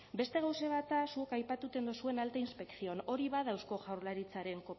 beste gauza bat da zuek aipatuten duzuen alta inspección hori bada eusko jaurlaritzaren